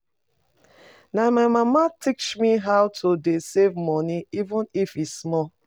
Na my mama teach me how to dey save money even if e small